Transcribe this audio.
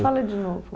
Fala de novo.